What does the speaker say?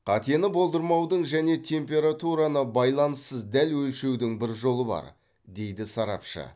қатені болдырмаудың және температураны байланыссыз дәл өлшеудің бір жолы бар дейді сарапшы